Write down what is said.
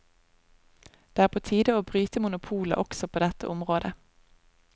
Det er på tide å bryte monopolet også på dette området.